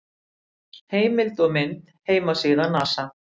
Heimild og mynd: Heimasíða NASA.